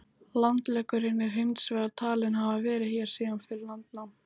Langleggurinn er hins vegar talinn hafa verið hér síðan fyrir landnám.